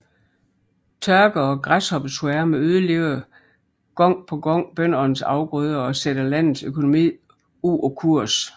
Tørke og græshoppesværme ødelægger gang på gang bøndernes afgrøder og sætter landets økonomi ud af kurs